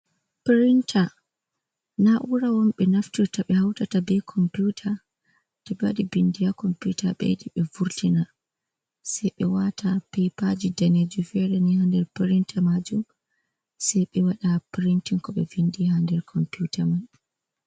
Pirinta na'ura on ɓe naftirta ɓe hautata be komputa to ɓe wadi bindi komputa ɓeyiɗi ɓe vurtina sai ɓe wata pepaji danejuum fere ni ha nder piriinta majuum, sai ɓe waɗa pirntin ko ɓe vindi ha nder komputa man.